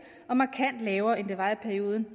og markant lavere end det var i perioden